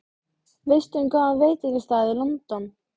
Veistu um góðan veitingastað í London?